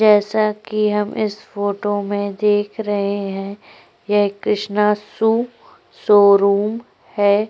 जैसा कि हम इस फोटो में देख रहे है यह कृष्णा शू शोरूम हैं।